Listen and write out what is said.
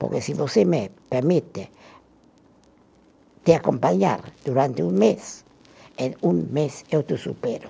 Porque se você me permite te acompanhar durante um mês, em um mês eu te supero.